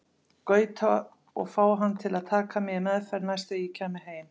Gauta og fá hann til að taka mig í meðferð næst þegar ég kæmi heim.